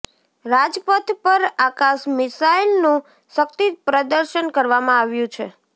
રાજપથ પર આકાશ મિસાઈલનું શક્તિ પ્રદર્શન કરવામાં આવ્યું છે